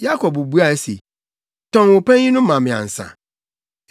Yakob buae se, “Tɔn wo panyin no ma me ansa.”